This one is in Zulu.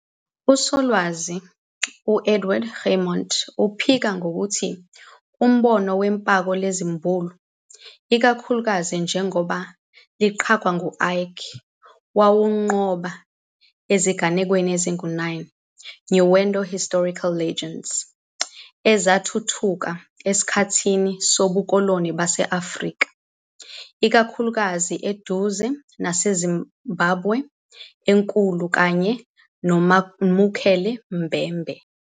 Usolwazi uEdward Guimont uphika ngokuthi umbono wephako lezimbulu, ikakhulukazi njengoba liqangqwa ngu-Icke, wawugqoba ezinganekweni zengunanyali "pseudohistorical legends" ezathuthuka esikhathini sobukoloni base-Afrika, ikakhulukazi eduze naseZimbabwe enkulu kanye no-Mukele-mbembe.